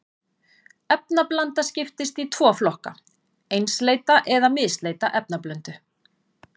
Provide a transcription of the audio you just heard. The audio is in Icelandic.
Efnablanda skiptist í tvo flokka, einsleita eða misleita efnablöndu.